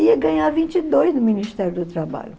ia ganhar vinte e dois no Ministério do Trabalho.